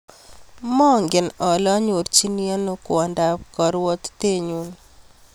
Mangen ale anyorchini ano kwondap karwatitennyu